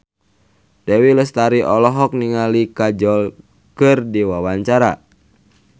Dewi Lestari olohok ningali Kajol keur diwawancara